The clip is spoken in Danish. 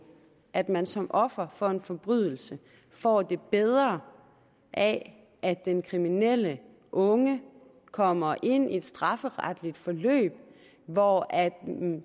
at man som offer for en forbrydelse får det bedre af at den kriminelle unge kommer ind i et strafferetligt forløb hvor